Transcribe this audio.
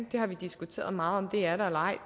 vi har diskuteret meget om det er der eller ej